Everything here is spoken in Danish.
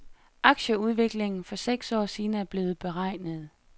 Aktieudviklingen for seks år siden er også blevet beregnet.